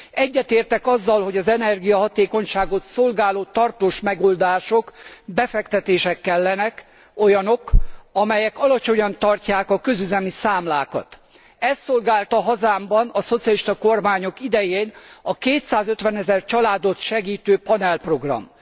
Egyetértek azzal, hogy az energiahatékonyságot szolgáló tartós megoldások, befektetések kellenek, olyanok, amelyek alacsonyan tartják a közüzemi számlákat. Ezt szolgálta hazámban a szocialista kormányok idején a 250000 családot segítő panelprogram.